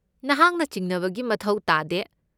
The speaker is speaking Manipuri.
ꯅꯍꯥꯛꯅ ꯆꯤꯡꯅꯕꯒꯤ ꯃꯊꯧ ꯇꯥꯗꯦ꯫